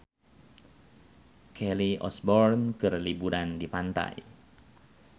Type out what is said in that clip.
Kelly Osbourne keur liburan di pantai